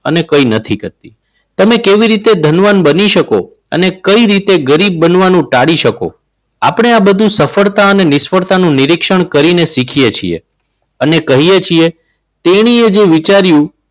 અને કંઈ નથી કરતી. તમે કેવી રીતે ધનવાન બની શકો અને કઈ રીતે ગરીબ બનવાનું ટાળી શકો. આપણે આ બધું સફળતાને નિષ્ફળતા નું નિરીક્ષણ કરી ને શીખીએ છીએ અને કહીએ છીએ તેણીએ જે વિચાર્યું.